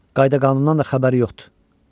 Qayda-qanundan da xəbəri yoxdur.